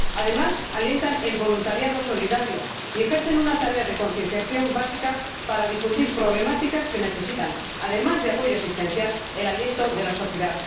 Además, alientan el voluntariado solidario y ejercen una tarea de concienciación básica para difundir problemáticas que necesitan, además de apoyo asistencial, el aliento de la sociedad.